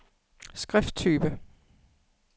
skrifttype